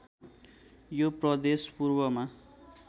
यो प्रदेश पूर्वमा